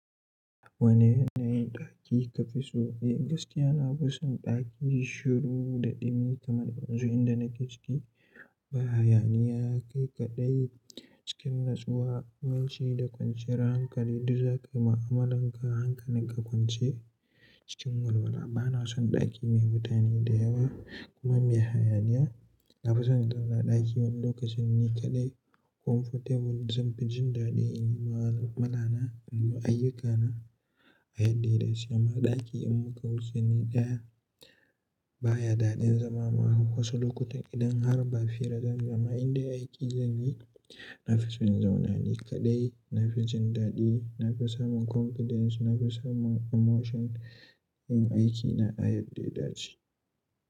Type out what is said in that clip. Wani yanayin ɗaki kafi so? Eh gaskiya na fi son ɗaki shiru da ɗumi kamar yanzu inda nake ciki ba hayaniya, kai kaɗai cikin natsuwa, mai ci da kwanciyar hankali duk zaka ma amalan ka hankalin ka kwance cikin walwala. Bana son ɗaki mai mutane da yawa kuma mai hayaniya. Na fi son zauna ɗaki wani lokacin ni kaɗai comfortable zanfi jin daɗin yi ma malamana da ma ayyukana a yadda ya dace. Ma ɗaki in muka wuce ni daya baya daɗin zama wasu lokutan idan har ba fira zamuyi amma in dei aiki zamuyi Nafi son in zauna ni kaɗai, na fi jin daɗi, na fi samun confidence, na fi samun emotion yin aiki na a yadda ya dace.